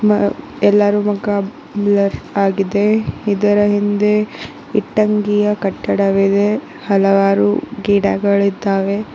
ಮ ಆ ಎಲ್ಲಾರು ಮುಖ ಬ್ಲರ್ ಆಗಿದೆ ಇದರ ಹಿಂದೆ ಇಟ್ಟಂಗಿಯ ಕಟ್ಟಡವಿದೆ ಹಲವಾರು ಗಿಡಗಳಿದ್ದಾವೆ.